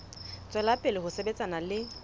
tswela pele ho sebetsana le